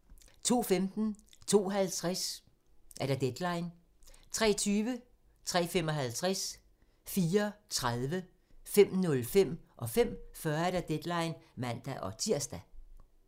02:15: Deadline 02:50: Deadline 03:20: Deadline (man-tir) 03:55: Deadline (man-tir) 04:30: Deadline (man-tir) 05:05: Deadline (man-tir) 05:40: Deadline (man-tir)